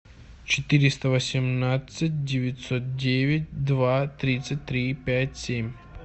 четыреста восемнадцать девятьсот девять два тридцать три пять семь